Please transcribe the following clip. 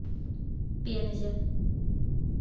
пензе